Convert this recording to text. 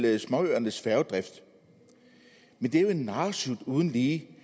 småøernes færgedrift men det er jo en narresut uden lige